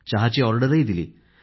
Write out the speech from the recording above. चहाची ऑर्डरही दिली